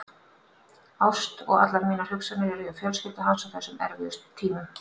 Ást og allar mínar hugsanir er hjá fjölskyldu hans á þessum erfiðu tímum.